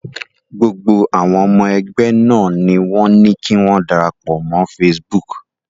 Gbogbo àwọn ọmọ ẹgbẹ́ náà ni wọ́n ní kí wọ́n darapọ̀ mọ́ Facebook.